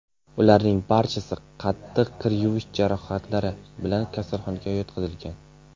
Ularning barchasi qattiq kuyish jarohatlari bilan kasalxonaga yotqizilgan.